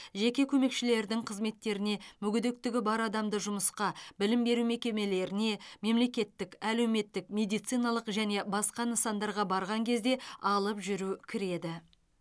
жеке көмекшілердің қызметтеріне мүгедектігі бар адамды жұмысқа білім беру мекемелеріне мемлекеттік әлеуметтік медициналық және басқа нысандарға барған кезде алып жүру кіреді